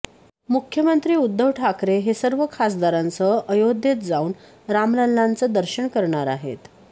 मुख्यमंत्री उद्धव ठाकरे हे सर्व खासदारांसह अयोध्येत जाऊन रामलल्लांच दर्शन करणार आहेत